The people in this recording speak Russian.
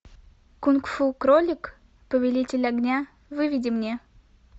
кунг фу кролик повелитель огня выведи мне